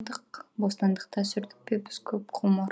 бостандықта сүрдік пе біз көп ғұмыр